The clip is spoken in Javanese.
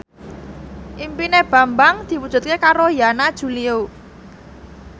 impine Bambang diwujudke karo Yana Julio